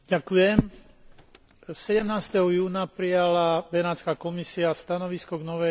17. júna prijala Benátska komisia stanovisko k novej maďarskej ústave.